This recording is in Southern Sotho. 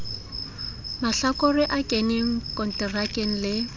mahlakore a keneng konterakeng le